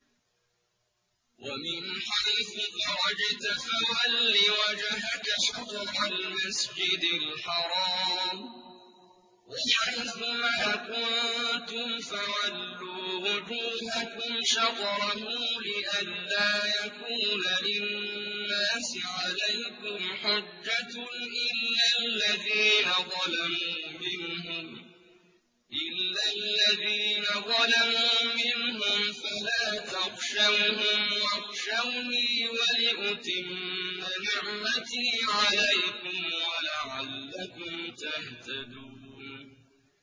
وَمِنْ حَيْثُ خَرَجْتَ فَوَلِّ وَجْهَكَ شَطْرَ الْمَسْجِدِ الْحَرَامِ ۚ وَحَيْثُ مَا كُنتُمْ فَوَلُّوا وُجُوهَكُمْ شَطْرَهُ لِئَلَّا يَكُونَ لِلنَّاسِ عَلَيْكُمْ حُجَّةٌ إِلَّا الَّذِينَ ظَلَمُوا مِنْهُمْ فَلَا تَخْشَوْهُمْ وَاخْشَوْنِي وَلِأُتِمَّ نِعْمَتِي عَلَيْكُمْ وَلَعَلَّكُمْ تَهْتَدُونَ